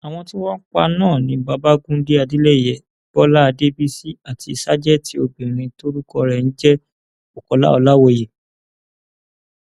àwọn tí wọn pa náà ni babagunde adeleye bọlá adébísì àti ṣàjètì obìnrin tórúkọ rẹ ń jẹ bukola ọlàwọyé